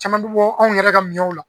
Caman bi bɔ anw yɛrɛ ka miɲɛw la.